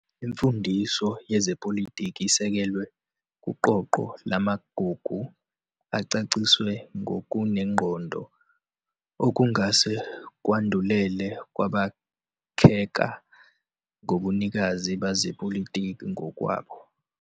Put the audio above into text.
Imfundiso yezepolitiki isekelwe kuqoqo lamagugu acaciswe ngokunengqondo, okungase kwandulele ukwakheka kobunikazi bezepolitiki ngokwabo.